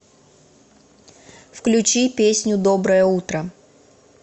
включи песню доброе утро